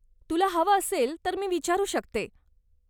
तुला हवं असेल तर मी विचारू शकते.